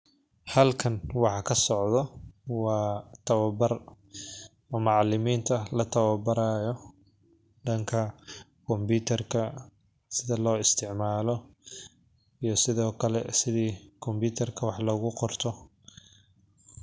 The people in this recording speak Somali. Halkan waxa kasocdo waa tababar macaliminta la tababaraayo sida loo isticmaalo iyo sida wax loogu qabto.